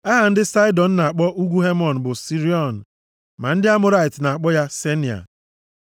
(Aha ndị Saịdọn na-akpọ ugwu Hemon bụ Siriọn, ma ndị Amọrait na-akpọ ya Senia.)